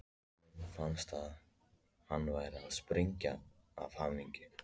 Honum fannst hann vera að springa af hamingju.